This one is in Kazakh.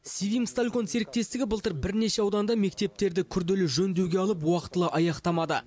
севимсталькон серістестігі былтыр бірнеше ауданда мектептерді күрделі жөндеуге алып уақытылы аяқтамады